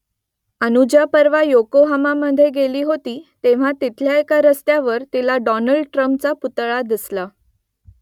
अनुजा परवा योकोहामामध्ये गेली होती तेव्हा तिथल्या एका रस्त्यावर तिला डॉनल्ड ट्रम्पचा पुतळा दिसला